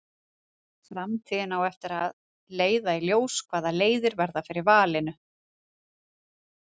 Framtíðin á eftir að leiða í ljós hvaða leiðir verða fyrir valinu.